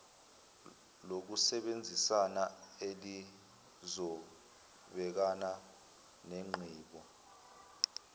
lokusebenzisana elizobhekana nenqubo